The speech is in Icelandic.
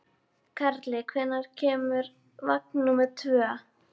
Karli, hvenær kemur vagn númer tvö?